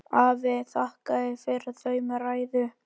Afi þakkaði fyrir þau með ræðu.